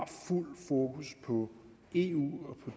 fuld fokus på eu og